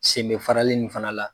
Sen bɛ faralen nin fana la.